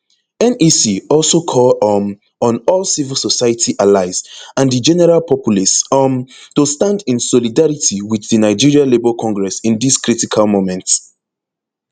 nec also call um on all civil society allies and di general populace um to stand in solidarity with di nigeria labour congress in dis critical moment